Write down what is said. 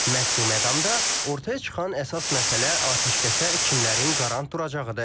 Məhz bu məqamda ortaya çıxan əsas məsələ atəşkəsə kimlərin qarant duracağıdır.